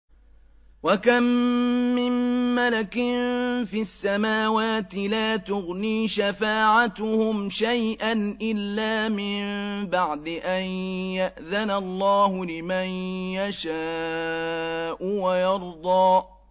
۞ وَكَم مِّن مَّلَكٍ فِي السَّمَاوَاتِ لَا تُغْنِي شَفَاعَتُهُمْ شَيْئًا إِلَّا مِن بَعْدِ أَن يَأْذَنَ اللَّهُ لِمَن يَشَاءُ وَيَرْضَىٰ